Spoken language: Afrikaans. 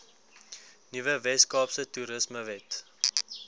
nuwe weskaapse toerismewet